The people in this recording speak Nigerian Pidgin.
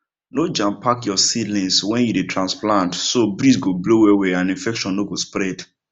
no jampack your seedlings when you dey transplant so breeze go blow well well and infection no go spread